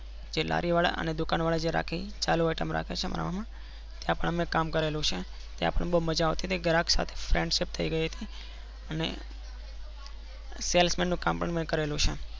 જે લારીયો વાળા અને દુકાન વાળા જે રાખે ચાલુ iteam રાખે ત્યાં પણ આપડે કામ કરેલું છે. ત્યાં પણ બૌજ મઝા આવ ટી હતી ઘરાગ સાથે frienendship થઇ ગયી હતી. અને sellsman નું પણ કામ કરેલું છે મેં.